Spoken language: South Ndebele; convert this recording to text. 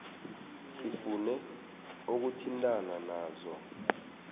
sifune ukuthintana nazo